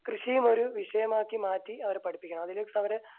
കൃഷിയും ഒരു വിഷയമാക്കി മാറ്റി അവരെ പഠിപ്പിക്കണം അതിനിപ്പം അവരെ